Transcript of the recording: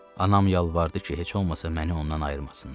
Anam yalvardı ki, heç olmasa məni ondan ayırmasınlar.